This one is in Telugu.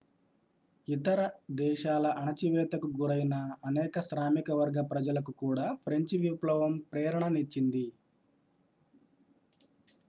ఇతర దేశాల అణచివేతకు గురైన అనేక శ్రామిక వర్గ ప్రజలకు కూడా ఫ్రెంచి విప్లవం ప్రేరణ నిచ్చింది